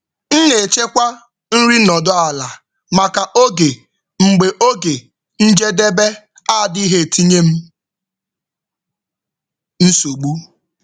M na-echekwa nri nọdụ ala maka oge mgbe oge njedebe adịghị etinye m nsogbu.